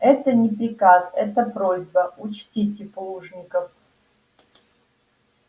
это не приказ это просьба учтите плужников